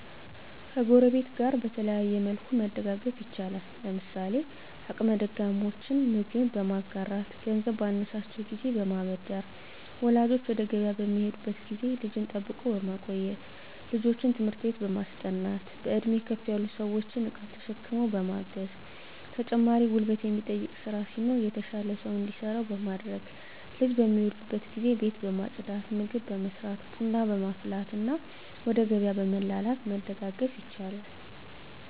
ከጎረቤት ጋር በተለያየ መልኩ መደጋገፍ ይቻላል። ለምሳሌ አቅመ ደካሞችን ምግብ በማጋራት ገንዘብ ባነሳቸው ጊዜ በማበደር ወላጆች ወደ ገቢያ በሚሄዱበት ጊዜ ልጅን ጠብቆ በማቆየት ልጆችን ትምህርት በማስጠናት በእድሜ ከፍ ያሉ ሰዎችን እቃ ተሸክሞ በማገዝ ተጨማሪ ጉልበት የሚጠይቅ ስራ ሲኖር የተሻለ ሰው እንዲሰራው በማድረግ ልጅ በሚወልዱበት ጊዜ ቤት ማፅዳት ምግብ መስራት ቡና ማፍላትና ወደ ገቢያ በመላላክ መደጋገፍ ይቻላል።